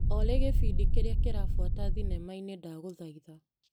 Olĩ gĩbindi kĩrĩa kĩrabuata thinema-inĩ ndagũthaitha .